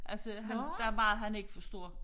Altså han der er meget han ikke forstår